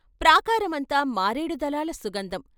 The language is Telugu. ప్రాకారమంతా మారేడుదళాల సుగంధం.